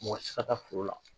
Mɔgɔ tɛ se ka taa foro la